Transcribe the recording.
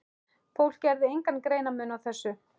Fólk gerði engan greinarmun á þessu.